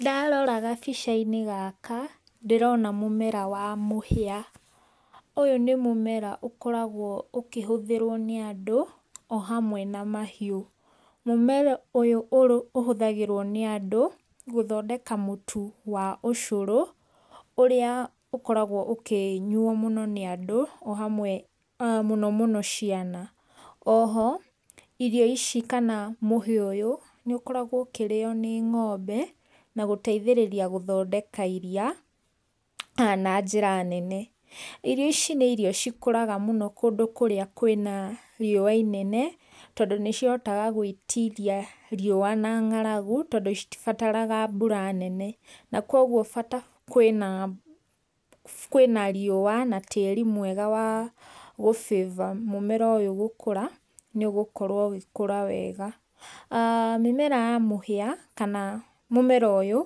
Ndarora gabica-inĩ gaka ndĩrona mũmera wa mũhĩa, ũyũ nĩ mũmera ũkoragwo ũkĩhũthĩrwo nĩ andũ o hamwe na mahiũ, mũmera ũyũ ũhũthagĩrwo nĩ andũ, gũthondeka mũtu wa ũcũrũ, ũrĩa ũkoragwo ũkĩnyuo mũno nĩ andũ o hamwe mũno mũno ciana, o ho irio ici kana mũhĩa ũyũ, nĩ ũkoragwo ũkĩrĩo nĩ ng'ombe, na gũteithĩrĩria gũthondeka iria na njĩra nene, irio ici nĩ irio ikũraga mũno kũndũ kũrĩa kwĩna riũa inene, tondũ nĩ cihotaga gwĩtiria riũa na ng'aragu, tondũ citibataraga mbura nene, na koguo bata kwĩna, kwĩna riũa na tĩri mwega wa gũ favour mũmera ũyũ gũkũra, nĩ ũgũkorwo ũgĩkũra wega, mĩmera ya mũhia kana mũmera ũyũ,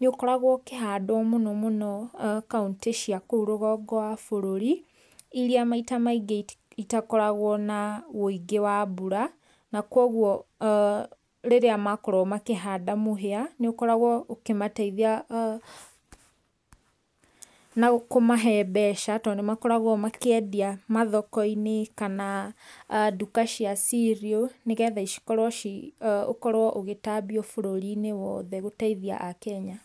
nĩ ũkoragwo ũkĩhandwo mũno mũno kauntĩ cia kũu rũgongo rwa bũrũri, iria maita maingĩ itakoragwo na ũingĩ wa mbura, na koguo rĩrĩa makorwo makĩhanda mũhĩa, nĩ ũkoragwo ũkĩmateithia na kũmahe mbeca, tondũ nĩ makoragwo makĩendia mathoko-inĩ kana nduka cia cereal nĩgetha cikorwo ci, ũkorwo ũgĩtambio bũrũri-inĩ wothe gũteithia akenya.